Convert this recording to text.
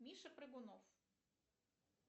миша прыгунов